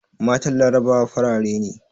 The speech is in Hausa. Matan larabawa farare ne